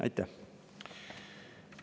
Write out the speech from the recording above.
Aitäh!